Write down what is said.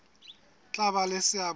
tla ba le seabo se